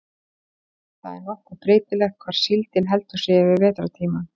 það er nokkuð breytilegt hvar síldin heldur sig yfir vetrartímann